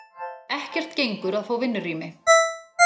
Ekkert gengur að fá vinnurými.